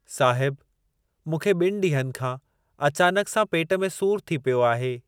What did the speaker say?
साहिब मूंखे ॿिनि ॾींहनि खां अचानक सां पेट में सूर थी पियो आहे।